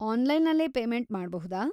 ಆನ್‌ಲೈನಲ್ಲೇ ಪೇಮೆಂಟ್‌ ಮಾಡ್ಬಹುದಾ?